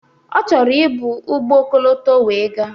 Ọ chọrọ ị bu ụgbọ ọkọlọtọ wee gaa.